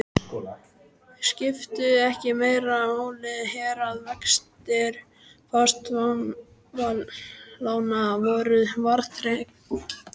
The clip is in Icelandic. Skipti ekki meira máli hér, að vextir fasteignaveðlána voru verðtryggðir?